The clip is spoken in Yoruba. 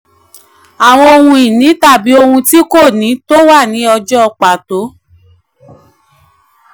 àwọn ohun ìní tàbí ohun tí kò ní tó wà ní ọjọ́ pàtó.